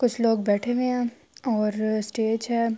کچھ لوگ بیٹھے ہوئے ہے اور اسٹیج ہے۔